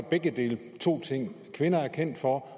begge dele kvinder er kendt for